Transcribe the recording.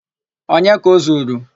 Onye ka o zuru?